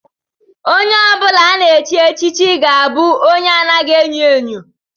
Onye ọ bụla a ga-echi echichi ga-abụ onye anaghị enyo enyo